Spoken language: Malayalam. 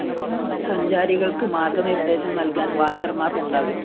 സഞ്ചാരികള്‍ക്ക് മാര്‍ഗ്ഗനിര്‍ദ്ദേശം നല്‍കാന്‍ വാച്ചര്‍മാര്‍ ഉണ്ടാകും